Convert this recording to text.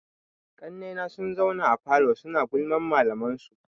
Ƙannai na sun zauna a falo suna gulman malaman su.